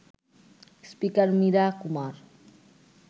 speaker Meera Kumar